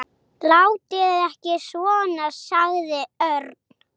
Látið ekki svona sagði Örn.